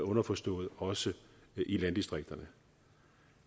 underforstået også i landdistrikterne